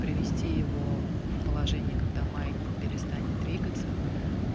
привести его в положение когда маятник перестанет двигаться